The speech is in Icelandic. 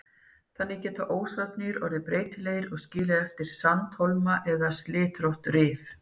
Þannig geta ósarnir orðið breytilegir og skilið eftir sandhólma eða slitrótt rif.